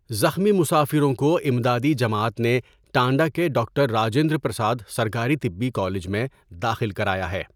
زخمی مسافروں کو امدادی جماعت نے ٹانڈہ کے ڈاکٹر راجندر پرساد سرکاری طبی کالج میں داخل کرایا ہے۔